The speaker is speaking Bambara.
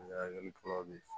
Ɲagami